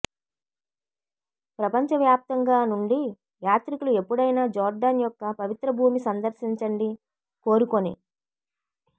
ప్రపంచవ్యాప్తంగా నుండి యాత్రికులు ఎప్పుడైనా జోర్డాన్ యొక్క పవిత్ర భూమి సందర్శించండి కోరుకొని